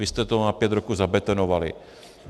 Vy jste to na pět roků zabetonovali.